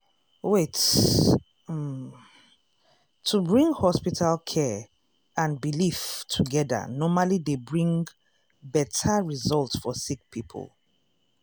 wait- um to bring hospital care and belief togeda normally dey bring um beta result for sick poeple. um